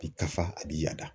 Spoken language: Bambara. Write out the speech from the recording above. A bi ka fa a bi yada.